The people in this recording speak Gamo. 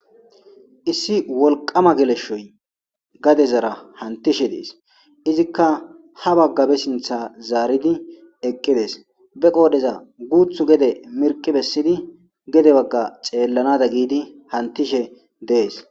Issi wolqama geleshoy gadezars hantishe des izika ha baga be sintha zaridi eqides be qodheza guthu gede miriqi besidi gede baga xellanada gidi hantishe des